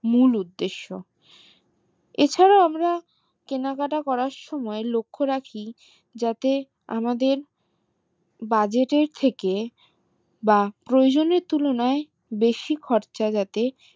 মূল উদ্দেশ এ ছাড়াও আমরা কেনাকাটা করার সময় লক্ষ রাখি যাতে আমাদের budget এর থেকে বা প্রয়োজনীয় তুলনায় বেশি খরচ যাতে